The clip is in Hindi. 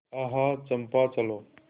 आह चंपा चलो